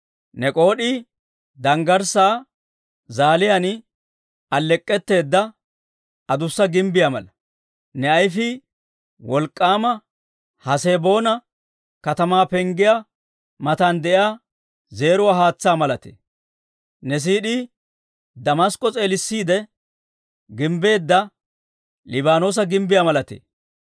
Ne k'ood'ii danggarssaa zaaliyaan alleek'k'etteedda adussa gimbbiyaa mala. Ne ayifii wolk'k'aama Haseboona katamaa penggiyaa matan de'iyaa, zeeruwaa haatsaa malatee. Ne siid'ii Damask'k'o s'eelissiide gimbbeedda Liibaanoosa gimbbiyaa malatee.